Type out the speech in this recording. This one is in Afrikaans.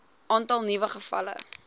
aantal nuwe gevalle